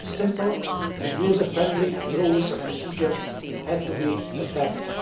simple and user friendly rules of procedure had to be established.